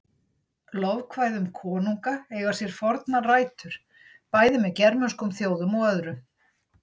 Lofkvæði um konunga eiga sér fornar rætur, bæði með germönskum þjóðum og öðrum.